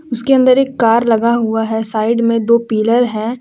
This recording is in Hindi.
उसके अंदर एक कार लगा हुआ है साइड में दो पिलर है।